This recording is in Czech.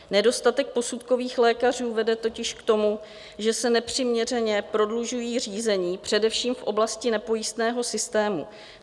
Nedostatek posudkových lékařů vede totiž k tomu, že se nepřiměřeně prodlužují řízení především v oblasti nepojistného systému.